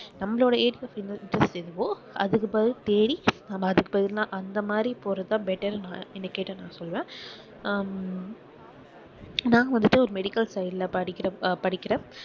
நம்மளோட interest என்னவோ அதுக்கு அந்த மாதிரி போறது தான் better ன்னு என்னை கேட்டா நான் சொல்லுவேன். ஹம் நான் வந்துட்டு ஒரு medical side ல படிக்கிற~ அஹ் படிக்கிறேன்.